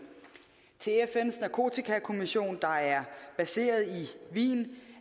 til fns narkotikakommission der er baseret i wien